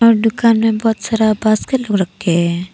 दुकान में बहुत सारा बास्केट भी रखे हैं।